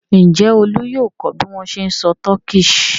Ǹjẹ́ Olú yóò kọ́ bí wọ́n ṣe ń sọ Turkish?